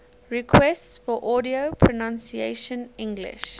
requests for audio pronunciation english